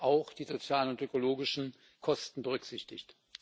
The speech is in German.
auch die sozialen und ökologischen Kosten berücksichtigt.